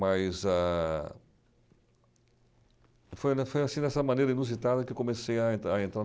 Mas a... Foi na foi assim, dessa maneira inusitada que eu comecei a en a entrar no